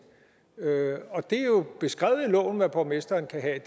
og det er jo beskrevet i loven hvad borgmesteren kan have